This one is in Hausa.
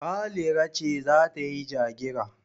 Halira ce za ta yi ja-gira.